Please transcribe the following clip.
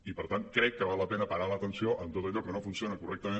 i per tant crec que val la pena parar l’atenció en tot allò que no funciona correctament